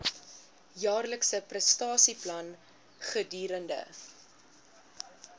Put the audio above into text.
jaarlikse prestasieplan gedurende